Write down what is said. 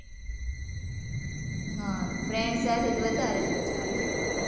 હમ friend સાથે તો વધારે મજા આવે,